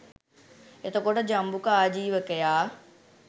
එතකොට ජම්බුක ආජීවකයා